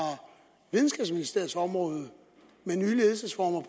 videnskabsministeriets område med nye ledelsesformer